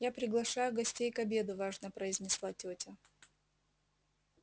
я приглашаю гостей к обеду важно произнесла тётя